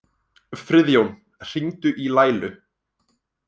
Friðjón, hringdu í Laílu.